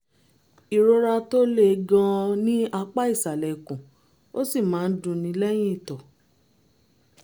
ìrora tó le gan-an ní apá ìsàlẹ̀ ikùn ó sì máa ń dùnni lẹ́yìn ìtọ̀